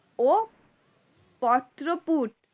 ও পত্রপুট